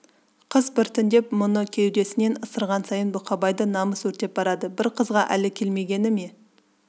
қыз біртіндеп бұны кеудесінен ысырған сайын бұқабайды намыс өртеп барады бір қызға әлі келмегені ме